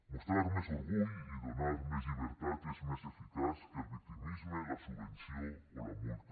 mostrar més orgull i donar més llibertat és més eficaç que el victimisme la subvenció o la multa